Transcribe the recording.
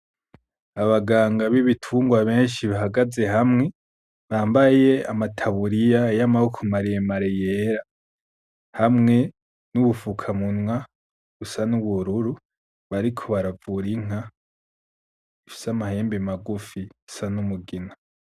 Abaganga b'ibitungwa benshi bahagaze hamwe bambaye amataburiya y'amaboko maremare yera hamwe n'ubufukamunwa busa n'ubururu bariko baravura inka ifise amahembe magufi isa n'umugina.